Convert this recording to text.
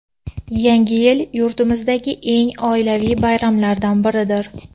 Yangi yil yurtimizdagi eng oilaviy bayramlardan biridir.